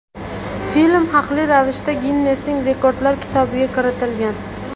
Film haqli ravishda Ginnesning rekordlar kitobiga kiritilgan.